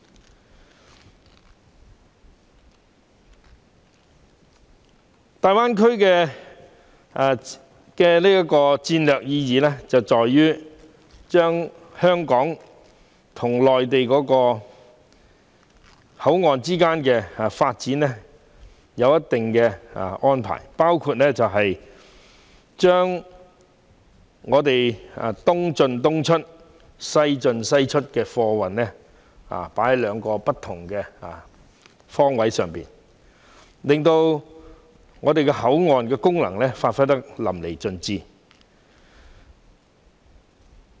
至於大灣區的戰略意義，在於國家會對香港與內地口岸往後的發展作出相應安排，按"東進東出、西進西出"的規劃原則，從兩個不同方向發展貨運，令香港口岸的功能發揮得淋漓盡致。